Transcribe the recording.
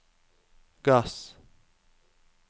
gass